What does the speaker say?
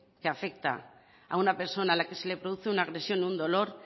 que afecta a una persona a la que se produce una agresión un dolor